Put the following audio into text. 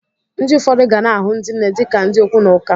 Ndị ụfọdụ gana ahụ ndị nne dị ka ndị okwu na ụka.